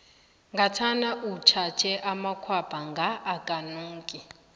ngathana utjhatjhe amakhwapha nga akanuki